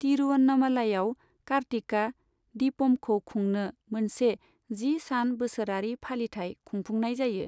तिरुवन्नमलईआव, कार्तिका दीपमखौ खुंनो मोनसे जि सान बोसोरारि फालिथाय खुंफुंनाय जायो।